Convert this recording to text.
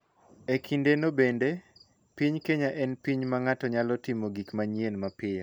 E kindeno bende, piny Kenya en piny ma ng�ato nyalo timo gik manyien mapiyo .